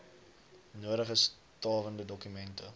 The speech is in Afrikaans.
nodige stawende dokumente